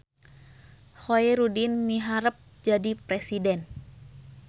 Khoerudin miharep jadi presiden